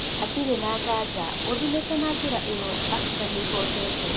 Hatarĩ ngaja ũthimĩte na njĩra ĩyo Baxter nĩihotete